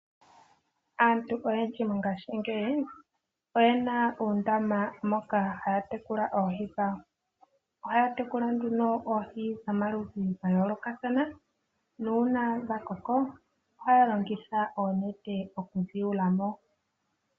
Aantu oyendji mongashingeyi, oyena oondama moka haatekula oohi dhawo. ohaatekula nduno oohi dhomaludhi gayoolokathana nuuna dhakoko ohaalongitha oonete okudhi yula mo .